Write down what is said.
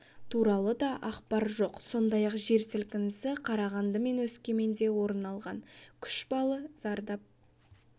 туралы да ақпар жоқ сондай-ақ жер сілкінісі қарағанды мен өскеменде орын алған күші балл зардап